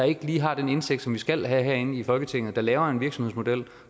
ikke lige har den indsigt som vi skal have herinde i folketinget der laver en virksomhedsmodel